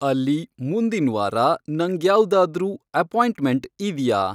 ಅಲ್ಲಿ ಮುಂದಿನ್ ವಾರ ನಂಗ್ಯಾವ್ದಾದ್ರೂ ಅಪಾಯಿಂಟ್ಮೆಂಟ್ ಇದ್ಯಾ